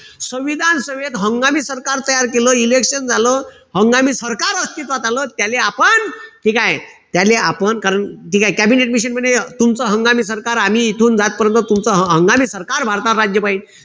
संविधान सभेत हंगामी सरकार तयार केलं. Election झालं. हंगामी सरकार अस्तित्वात आलं. त्याले आपण ठीकेय? त्याले आपण कारण ठीकेय? कॅबिनेट मिशन म्हणे तुमचं हंगामी सरकार आम्ही इथून जात पर्यंत तुमचं हंगामी सरकार भारतावर राज्य पाहिल.